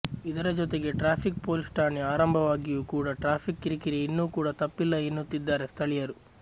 ಇದರ ಜೊತೆಗೆ traffic police ಠಾಣೆ ಆರಂಭವಾಗಿಯೂ ಕೂಡಾ ಟ್ರಾಫಿಕ್ ಕಿರಿ ಕಿರಿ ಇನ್ನು ಕೂಡಾ ತಪ್ಪಿಲ್ಲ ಎನ್ನುತ್ತಿದ್ದಾರೆ ಸ್ಥಳೀಯರು